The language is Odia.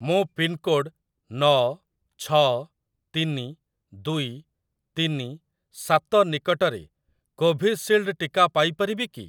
ମୁଁ ପିନ୍‌କୋଡ଼୍‌ ନଅ ଛଅ ତିନି ଦୁଇ ତିନି ସାତ ନିକଟରେ କୋଭିସିଲ୍ଡ ଟିକା ପାଇ ପାରିବି କି?